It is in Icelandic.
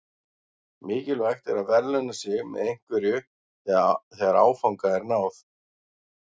Mikilvægt er að verðlauna sig með einhverju þegar áfanga er náð.